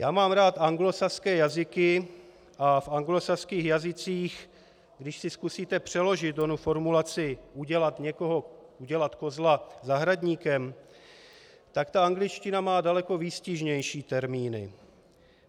Já mám rád anglosaské jazyky a v anglosaských jazycích, když si zkusíte přeložit onu formulaci, udělat kozla zahradníkem, tak ta angličtina má daleko výstižnější termíny.